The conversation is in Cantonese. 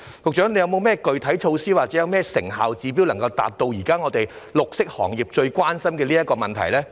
局長有何具體措施或成效指標，以回應現時綠色行業最關心的問題呢？